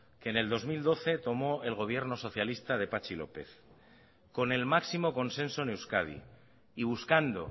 que en el dos mil doce tomó el gobierno socialista de patxi lópez con el máximo consenso en euskadi y buscando